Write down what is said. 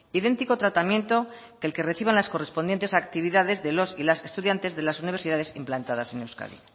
idéntico tratamiento que el que reciban las correspondientes actividades de los y las estudiantes de las universidades implantadas en euskadi